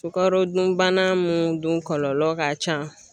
Sukarodunbana mun dun kɔlɔlɔ ka can.